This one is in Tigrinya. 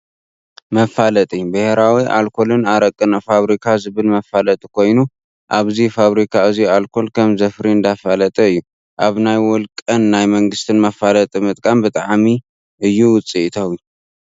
መፋለጢ፦ ብሄራዊ ኣልኮልን ኣረቅን ፋብሪካ ዝብል መፋለጢ ኮይኑ ኣብዚ ፋብሪካ እዙይ ኣልኮል ከም ዘፍሪ እንዳፈለጠ እዩ። ኣብ ናይ ወልቀን ናይ መንግስትን መፋለጢ ምጥቃም ብጣዕሚ እዩ ውፂኢታዊ ።